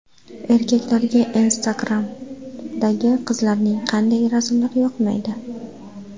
Erkaklarga Instagram’dagi qizlarning qanday rasmlari yoqmaydi?.